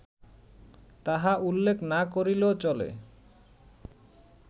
তাহা উল্লেখ না করিলেও চলে